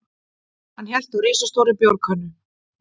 Hann hélt á risastórri bjórkönnu.